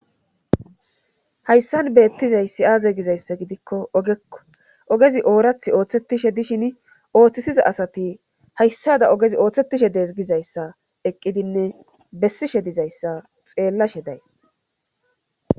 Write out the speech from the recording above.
Hayssan beettizayssi aaze gizayssa gidikko ogekko ogezi oorath ooththetishe dishin ooththisiza asati hayssada ogezi ooththetishe dees gizayssa eqqidinne bessishe dizayssa xeellashe days